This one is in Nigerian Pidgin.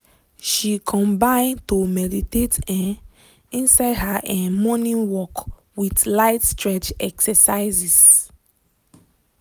she combin to meditate um inside her um morning work with light stretch exercises.